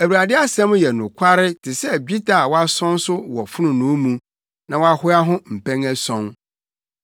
Awurade asɛm yɛ nokware te sɛ dwetɛ a wɔasɔn so wɔ fononoo mu, na wɔahoa ho mpɛn ason.